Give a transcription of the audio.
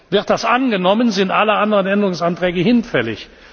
Wird das angenommen, sind alle anderen Änderungsanträge hinfällig.